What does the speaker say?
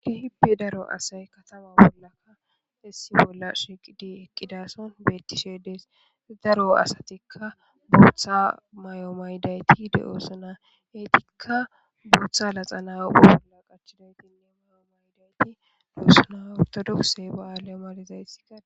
Keehippe daro asay katama bollaka issi bolla shiqidi eqqidason beettishedees daro asatikka booththa may7o maydayti de7osuna eetikka booththa laxa naa7u bolla qachidaytinne mayo maydayti de7osuna ortodokse ba7aalemalizaysi ka